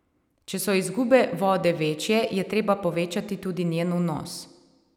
Če so izgube vode večje, je treba povečati tudi njen vnos.